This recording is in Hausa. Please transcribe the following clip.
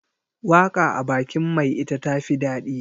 waka a bakin mai ita tafi dadi